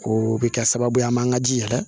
O bɛ kɛ sababu ye an b'an ka ji yɛlɛ